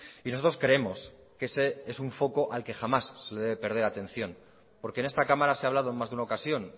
y nosotros creemos que ese es un foco al que jamás se le debe perder atención porque en esta cámara se ha hablado en más de una ocasión